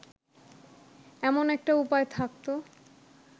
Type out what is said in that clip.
এমন একটা উপায় থাকত